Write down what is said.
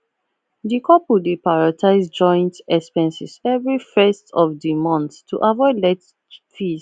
di couple dey prioritize joint expenses every 1st of di mont to avoid late fees